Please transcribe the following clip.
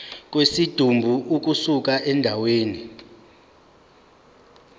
kwesidumbu ukusuka endaweni